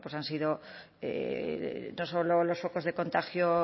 han sido no solo los focos de contagio